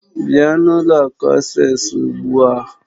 Bịa n'ụlọ akụ Asés ugbu a!